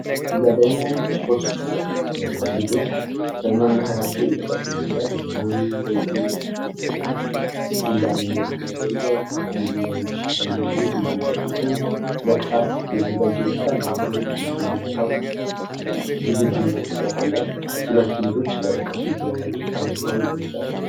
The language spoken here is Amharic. እዚህ ጋ ደግሞ ሶስት ልጆች በመምህራቸው እየተቀጡ ይመስላል። መምህሩ በእጁ ዱላ የሚመስል ነገር ይዟል አንደኛው ልጅ እጁን ዘርግቶ ለቅጣት የተዘጋጀ ይመስላል። መምህር ልጁን ሊመታው ዝግጁነት ያሳያል ሁለቱ ልጆች እያለቀሱ ይገኛሉ ተመተው ይመስላል።